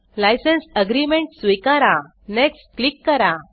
licence agreement स्वीकारा next click करा